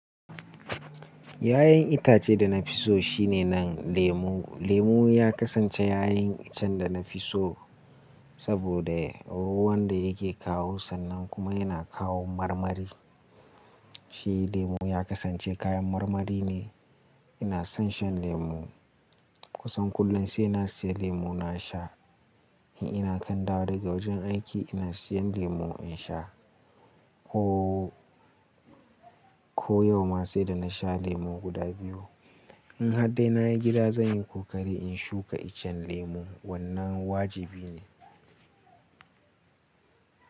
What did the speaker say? Yayin itace da na fi so shine nan lemu. Lemu ya kasance yayin iccen da na fi so, saboda ruwan da yake kawo sannan kuma yana kawo marmari. Shi lemu ya kasance kayan marmari ne. Ina son shan lemu. Kusan kullum sai na siya lemu na sha. In ina kan dawo daga wajen aiki ina siyan lemu in sha. Oh, ko yau ma sai da na sha lemu guda biyu. In har dai na yi gida zan yi kokari in shuka iccen lemu. Wannan wajibi ne.